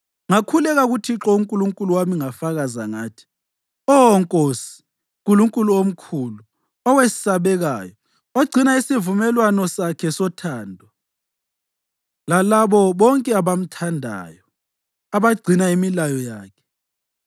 Ngakhuleka kuThixo uNkulunkulu wami ngafakaza ngathi: “Oh Nkosi, Nkulunkulu omkhulu, owesabekayo, ogcina isivumelwano sakhe sothando lalabo bonke abamthandayo, abagcina imilayo yakhe: